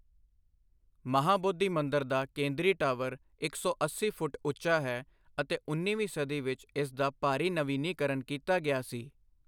ਮਹਾਬੋਧੀ ਮੰਦਰ ਦਾ ਕੇਂਦਰੀ ਟਾਵਰ ਇੱਕ ਸੌ ਅੱਸੀ ਫੁੱਟ ਉੱਚਾ ਹੈ ਅਤੇ ਉੱਨੀਵੀਂ ਸਦੀ ਵਿੱਚ ਇਸ ਦਾ ਭਾਰੀ ਨਵੀਨੀਕਰਨ ਕੀਤਾ ਗਿਆ ਸੀ।